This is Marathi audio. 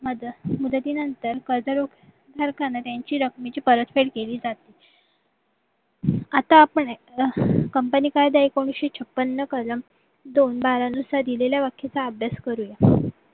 मध्ये मुदतीनंतर कर्जरोख सरकारला त्यांच्या रकमेची परफेड केली जाते आता आपण company कायदा एकोणीशे छप्पन कलम दोन बार नुसार दिलेल्या व्याख्याचा अभ्यास करूयात